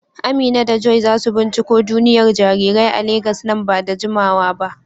Amina da Joy za su binciko duniyar jarirai a Legas nan ba da jimawa ba.